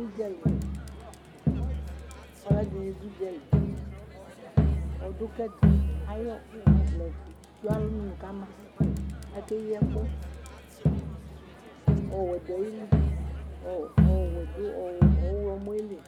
Udzali ɔlɔdini du udzali ɔdukɛtu ayu ɔvlɛdi du alɔnu kama akeyi ɛku ɔwɛ du ayili ɔwɛ du ɔɣlomɔ du li